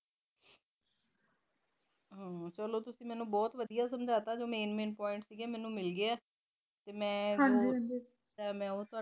ਹਾ ਚਲੋ ਤੁਸੀ ਮੈਨੂੰ ਬਹੁਤ ਵਧੀਆਂ ਤਰੀਕੇ ਨਾਲ ਸਮਝਾਤਾ ਜੋ main main point ਸੀਗੇ ਮੈਨੂੰ ਮਿਲਗੇ ਤੇ ਫਿਰ ਦੁਆਰਾ ਤੁਹਾਡੇ ਤੋ ਪੁਸ਼ੁਗੀ